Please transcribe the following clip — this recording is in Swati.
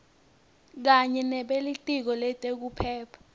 kanye nebelitiko letekuphepha